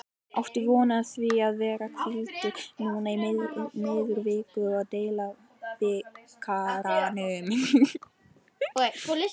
Áttu von á því að vera hvíldur núna í miðri viku í deildabikarnum?